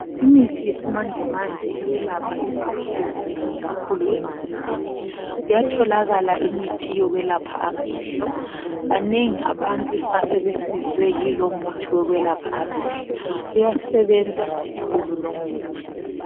Imithi yesimanje manje iyelapha izifo ezinengi kakhulu emzimbeni, kuyatholakala imithi yokwelapha amehlo banengi abantu asebesizwe yilomuthi wokwelapha amehlo uyasebenza kakhulu lomuthi.